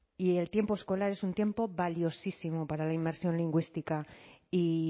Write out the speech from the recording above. y el tiempo escolar es un tiempo valiosísimo para la inmersión lingüística y